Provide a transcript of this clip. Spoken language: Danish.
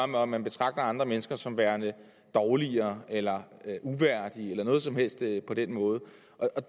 med om man betragter andre mennesker som værende dårligere eller uværdige eller noget som helst på den måde